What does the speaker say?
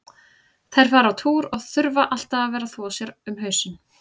Þær fara á túr og þurfa alltaf að vera að þvo sér um hausinn.